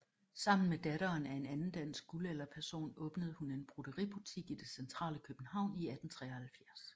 Sammen med datteren af en anden dansk guldalderperson åbnede hun en brodeributik i det centrale København i 1873